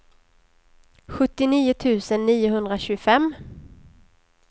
sjuttionio tusen niohundratjugofem